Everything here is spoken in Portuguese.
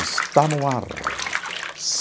Está no ar.